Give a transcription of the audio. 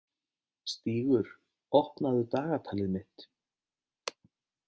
Stígur, opnaðu dagatalið mitt.